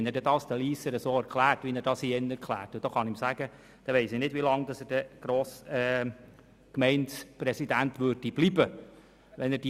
Wenn er es ihnen so erklären würde, wie er es hier erklärt, gehe ich davon aus, dass er nicht lange Gemeindepräsident bleiben würde.